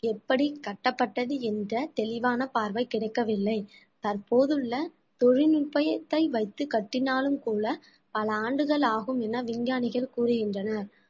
எப்படி கட்டப்பட்டது என்ற தெளிவான பார்வை கிடைக்கவில்லை தற்போதுள்ள தொழில்நுட்பத்தை வைத்து கட்டினாலும் கூட பல ஆண்டுகள் ஆகும் என விஞ்ஞானிகள் கூறுகின்றனர்